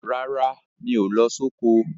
Rárá, mi ò lọ soko.